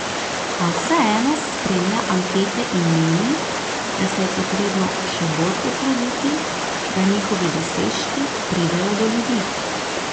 A vseeno spremlja ankete in meni, da se je potrebno še bolj potruditi, da njihovi dosežki pridejo do ljudi.